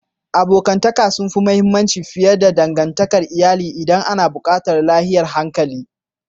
Abokantaka sun fi mahimmanci fiye da dangantakar iyali idan ana batun lafiyar hankali.